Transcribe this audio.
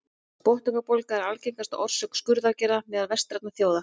botnlangabólga er algengasta orsök skurðaðgerða meðal vestrænna þjóða